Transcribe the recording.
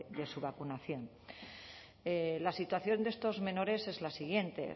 de su vacunación la situación de estos menores es la siguiente